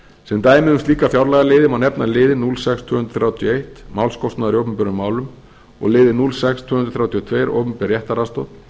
sem dæmi um slíka fjárlagaliði má nefna liðinn núll sex til tvö hundruð þrjátíu og eitt málskostnaður í opinberum málum og liðinn núll sex til tvö hundruð þrjátíu og tvö opinber réttaraðstoð